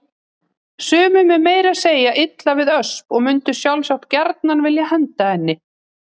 Sumum er meira að segja illa við Ösp og mundu sjálfsagt gjarnan vilja henda henni.